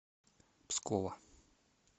пскова